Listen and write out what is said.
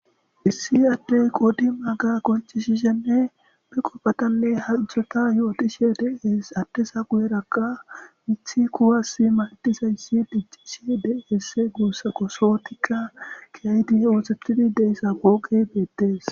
Issi addey qodimaaga qoncisishenne qopatanne halchata yootishe dees.ha addeza bollankka mithi kuwasizayssi diccishe dees guussako.keethazikka keehidinne lo7idi oothettida pooqezakko.